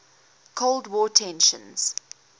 cold war tensions